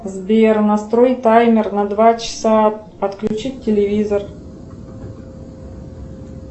сбер настрой таймер на два часа отключить телевизор